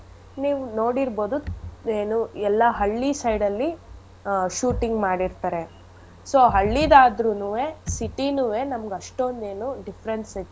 ನೀವ್ ನೋಡಿರ್ಬೋದು ಏನೂ ಎಲ್ಲಾ ಹಳ್ಳಿ side ಅಲ್ಲಿ ಆಹ್ shooting ಮಾಡಿರ್ತರೆ so ಹಳ್ಳಿದಾದ್ರುನೂವೆ city ನೂವೆ ನಮ್ಗ್ ಅಷ್ಟೊಂದ್ ಏನೂ difference ಏನೂ ಸಿಗ್ತಾ.